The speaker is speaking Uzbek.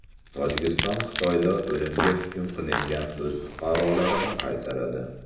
Tojikiston Xitoyda o‘limga hukm qilingan o‘z fuqarolarini qaytaradi.